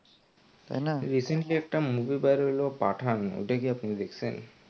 তাই না recently একটা movie বার হইলো পাঠান ঐটা কি আপনি দেখসেন?